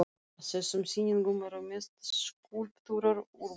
Á þessum sýningum eru mest skúlptúrar úr bronsi.